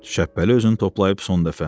Şəhbəli özünü toplayıb son dəfə.